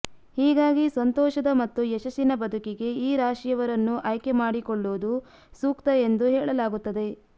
ಹೀಗಾಗಿ ಸಂತೋಷದ ಮತ್ತು ಯಶಸ್ಸಿನ ಬದುಕಿಗೆ ಈ ರಾಶಿಯವರನ್ನು ಆಯ್ಕೆ ಮಾಡಿಕೊಳ್ಳುವುದು ಸೂಕ್ತ ಎಂದೂ ಹೇಳಲಾಗುತ್ತದೆ